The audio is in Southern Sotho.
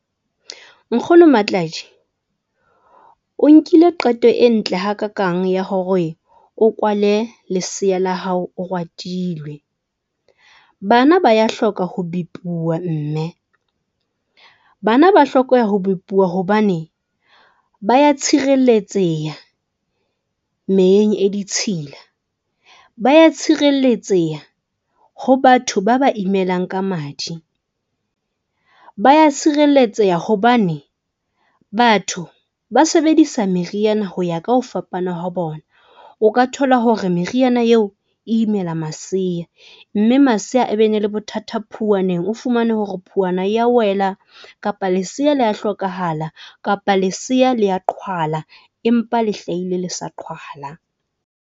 Nkgono Matladii o nkile qeto e ntle hakakang ya hore o kwale leseya la hao, Oratilwe. Bana ba ya hloka ho mme bana ba hlokeha ho hobane ba ya tshireletseha meyeng e ditshila. Ba ya tshireletseha ho batho ba ba imelang ka madi, ba ya tshireletseha hobane batho ba sebedisa meriana ho ya ka ho fapana ha bona. O ka thola hore meriana eo e imela maseya, mme maseya a be ne le bothata phuwaneng. O fumane hore phuwana ya wela, kapa leseya le ya hlokahala kapa leseya le ya qhwala, empa le hlahile le sa qhwala.